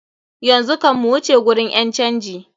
Yanzu kam mu wuce gurin ƴan canji.